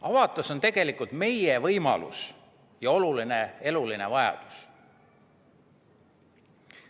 Avatus on meie võimalus ja oluline eluline vajadus.